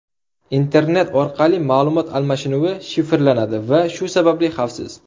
Internet orqali ma’lumot almashinuvi shifrlanadi va shu sababli xavfsiz.